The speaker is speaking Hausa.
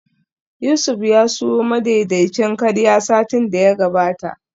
Yusuf ya siyo madaidaicin karya satin da ya gabata